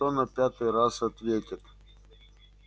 что на пятый раз ответит